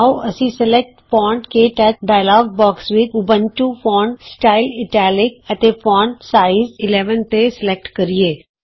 ਆਉ ਅਸੀਂ select font ਕੇ ਟੱਚ ਡਾਇਲੋਗ ਬੌਕਸ ਵਿਚ font Ubuntu font style italic ਅਤੇ ਫੌਂਟ ਸਾਈਜ਼ 11 ਤੇ ਸਲੈਕਟ ਕਰੀਏ